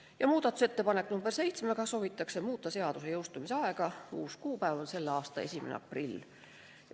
Ja muudatusettepanekuga nr 7 soovitakse muuta seaduse jõustumise aega, uus kuupäev on k.a 1. aprill.